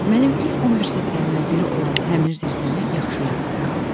Mənim ilk universitetlərimdən biri olan həmər zirzəmi yaxşı yadımdadır.